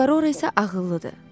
Tuskarora isə ağıllıdır.